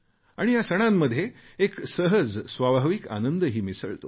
आणि या सणांमध्ये एक सहज स्वाभाविक आनंदही मिसळतो